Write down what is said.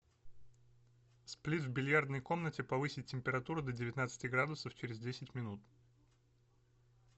сплит в бильярдной комнате повысить температуру до девятнадцати градусов через десять минут